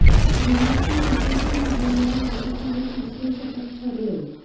विराटचे कसोटीमधील या वर्षातील हे तिसरे शतक ठरले